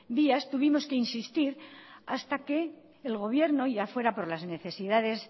vías tuvimos que insistir hasta que el gobierno ya fuera por las necesidades